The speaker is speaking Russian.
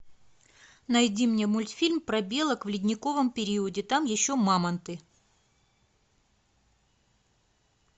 найди мне мультфильм про белок в ледниковом периоде там еще мамонты